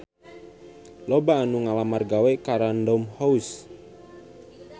Loba anu ngalamar gawe ka Random House